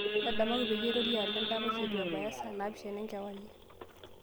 ntadamuaki peyie aitorio alo endapash eitu ebaya saa napishana enkewarie